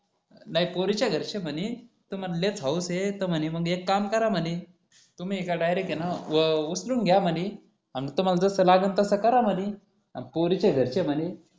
नाही पोरीच्या घरचे म्हणे तुम्हाला लयच हौस हे तर एक काम करा म्हणे तुम्ही ये का डायरेक्ट हे न उचलून घ्या म्हणे आणि तुम्हाला जसं लागेल तसं करा म्हणे अन पोरीच्या घरचे म्हणे